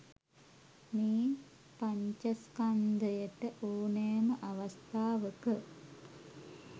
මේ පඤ්චස්කන්ධයට ඕනෑම අවස්ථාවක